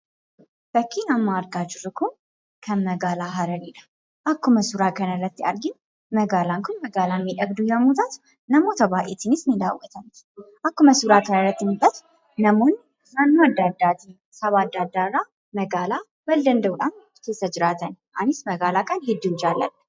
Fakkiin amma argaa jirru kun, kan magaalaa hararidha.. akkuma suuraa kanarratti arginu magaalaan kun magaalaa miidhagduu yommuu taatu namoota baayyeetinis ni daawwatamti. Akkuma suuraa kanarratti mul'atu namoonni naannoo adda addaati, saba adda addaarraa magaalaa wal danda'uudhaan keessa jiraatan, anis magaalaa kana hedduun jaaladha.